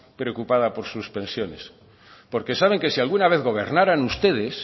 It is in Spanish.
preocupada por sus pensiones porque saben que si alguna vez gobernaran ustedes